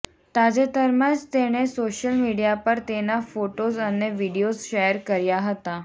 તાજેતરમાં જ તેણે સોશિયલ મીડિયા પર તેના ફોટોઝ અને વીડિયોઝ શૅર કર્યા હતા